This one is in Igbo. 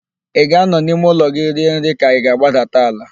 Ị ga-anọ n'ime ụlọ gị rie nri ka ị ga-agbadata ala?